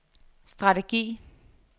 strategi